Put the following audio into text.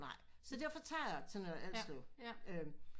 Nej så derfor tager jeg til Nørre Alslev